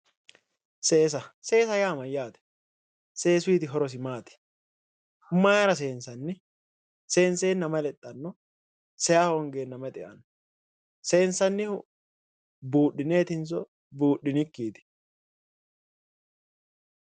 Seesa seesa yaa mayyaate? Seesuyiiti horosi maati? Mayeera seensanni? Senseenna mayi lexxanno? Seyahongeenna mayi xe"anno? Sensayiihu buudhineetinso buudhinikkiiti?